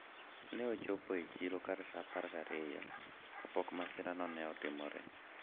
ne ochopo ga e siro kar sa apar gi ariyo kapok masira no ne otimore